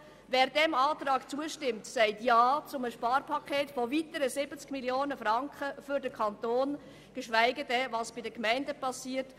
Wer diesem Antrag zustimmt, sagt Ja zu einem Sparpaket im Umfang von weiteren 70 Mio. Franken für den Kanton, geschweige denn zu dem, was bei den Gemeinden geschieht.